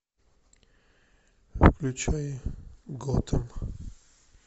включай готэм